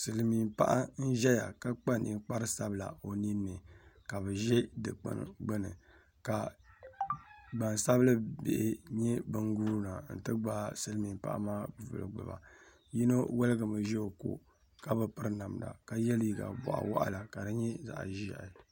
Silmiin paɣa n ʒɛya ka kpa ninkpari sabila o ninni ka bi ʒɛ dikpuni gbuni ka gbansabili bihi nyɛ bin guuna n ti gbaai silmiin paɣa maa nuhi gbuba yino woligimi ʒɛ o ko ka yɛ liiga boɣa waɣala ka di nyɛ zaɣ ʒiɛhi